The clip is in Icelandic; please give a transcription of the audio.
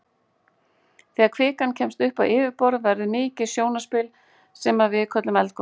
Þegar kvikan kemst upp á yfirborð verður mikið sjónarspil sem að við köllum eldgos.